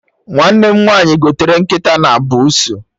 Nwanne m nwaanyị gotere nkịta na buusu